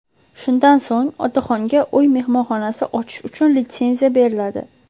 Shundan so‘ng otaxonga uy mehmonxonasi ochish uchun litsenziya beriladi.